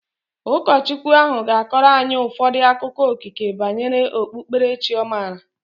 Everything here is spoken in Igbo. Ụkọchukwu ahu ga-akọrọ anyị ụfọdụ akụkọ okike banyere okpukpere chi ọ maara